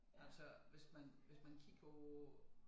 Altså hvis man hvis man kigger på